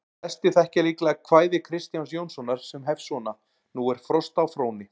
Flestir þekkja líklega kvæði Kristjáns Jónssonar sem hefst svona: Nú er frost á Fróni,